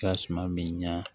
Ka suma bi ɲa